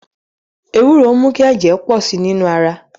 Ewuro ń mu ki ẹjẹ pọ si ninu ara